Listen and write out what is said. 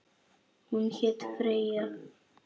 Hún hét Freyja.